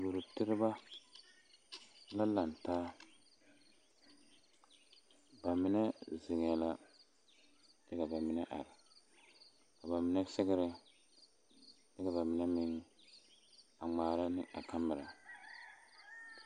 Duoro tereba la laŋ taa ba mine zeŋɛɛ la kyɛ ka ba mine are ka ba mine sɛgrɛ kyɛ ka ba mine meŋ a ŋmaara ne a kamera.